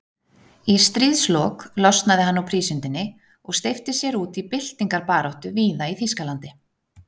Í stríðslok losnaði hann úr prísundinni og steypti sér út í byltingarbaráttu víða í Þýskalandi.